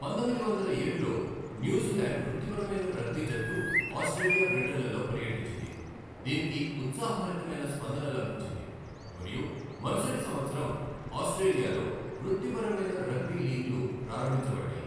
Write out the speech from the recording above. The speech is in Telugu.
పంతొమ్మిది వందల ఏడులో న్యూజిలాండ్ వృత్తిపరమైన రగ్బీ జట్టు ఆస్ట్రేలియా, బ్రిటన్లలో పర్యటించింది, దినికి ఉత్సాహభరితమైన స్పందన లభించింది మరియు మరుసటి సంవత్సరం ఆస్ట్రేలియాలో వృత్తిపరమైన రగ్బీ లీగ్లు ప్రారంభించబడ్డాయి.